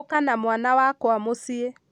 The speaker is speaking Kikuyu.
ũka na mwana wakwa mũciĩ